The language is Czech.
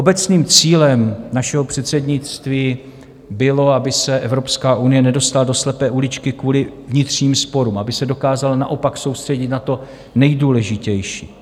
Obecným cílem našeho předsednictví bylo, aby se Evropská unie nedostala do slepé uličky kvůli vnitřním sporům, aby se dokázala naopak soustředit na to nejdůležitější.